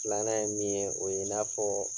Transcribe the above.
Filanan ye min ye, o ye i n'a fɔɔ